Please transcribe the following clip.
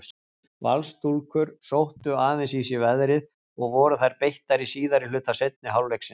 Valsstúlkur sóttu aðeins í sig veðrið og voru þær beittari síðari hluta seinni hálfleiksins.